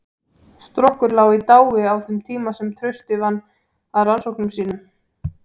Strokkur lá í dái á þeim tíma sem Trausti vann að rannsóknum sínum.